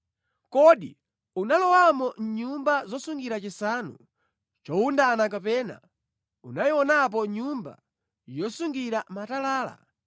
“Kodi unalowamo mʼnyumba zosungira chisanu chowundana kapena unayionapo nyumba yosungira matalala,